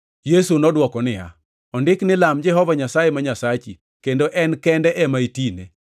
Yesu nodwoko niya, “Ondiki ni, ‘Lam Jehova Nyasaye ma Nyasachi kendo en kende ema itine.’ + 4:8 \+xt Rap 6:13\+xt* ”